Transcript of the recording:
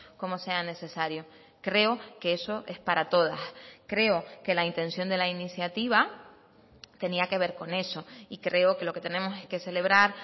como sea necesario creo que eso es para todas creo que la intención de la iniciativa tenía que ver con eso y creo que lo que tenemos que celebrar